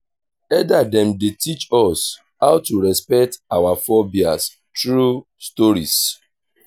elder dem dey teach us how to respect our forebears through stories.